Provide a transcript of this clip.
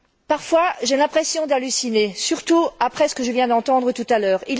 Parfois, j'ai l'impression d'halluciner, surtout après ce que je viens d'entendre tout à l'heure.